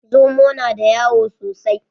Zomo na da wayo sosai